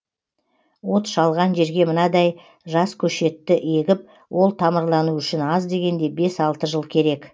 от шалған жерге мынадай жас көшетті егіп ол тамырлануы үшін аз дегенде бес алты жыл керек